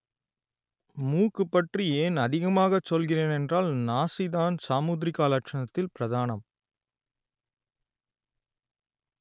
மூக்கு பற்றி ஏன் அதிகமாகச் சொல்கிறேன் என்றால் நாசிதான் சாமுத்திரிகா லட்சணத்தில் பிரதானம்